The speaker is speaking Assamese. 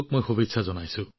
তৰুণ খেলুৱৈঃ নমস্কাৰ ছাৰ